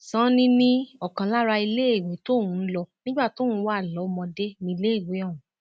sanni ní ọkan lára iléèwé tóun lò nígbà tóun wà lọmọdé níléèwé ọhún